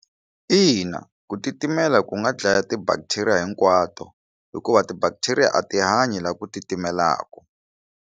Ina, ku titimela ku nga dlaya ti bacteria hinkwato hikuva ti bacteria a ti hanyi la ku titimelaku.